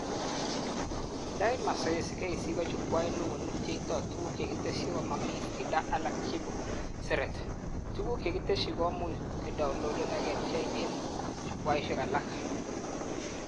Nda, eng mazoezi, KEC ko chukwait neo nebjetoi tuguk chekitesyi komami faida alak cheboseret, tuguk chekitesyi komuch kedownloaden ak kebchee eng chukwaishek alak